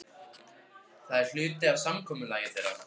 Það er hluti af samkomulagi þeirra.